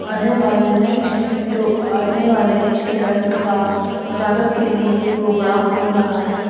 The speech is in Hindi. आने वाले नए स्टूडेंट आने वाले स्टूडेंट का स्वागत के लिए यह प्रोग्राम हो रहा है।